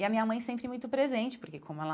E a minha mãe sempre muito presente, porque como ela